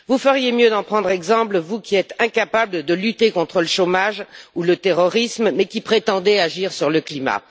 Vous feriez mieux d'en prendre exemple, vous qui êtes incapables de lutter contre le chômage ou le terrorisme, mais qui prétendez agir sur le climat.